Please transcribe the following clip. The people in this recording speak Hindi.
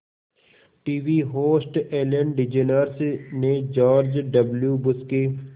टीवी होस्ट एलेन डीजेनर्स ने जॉर्ज डब्ल्यू बुश के